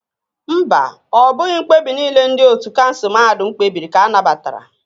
Mba, ọ bụghị mkpebi niile ndị ótú kansụl mahadum kpebiri ka a nabatara